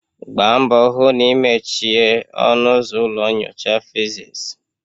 Gbaa mbọ hụ na ị mechie ọnụ ụzọ ụlọ nyocha physics.